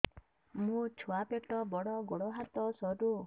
ମୋ ଛୁଆ ପେଟ ବଡ଼ ଗୋଡ଼ ହାତ ସରୁ